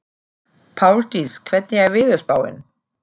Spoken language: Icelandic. Páldís, hvernig er veðurspáin?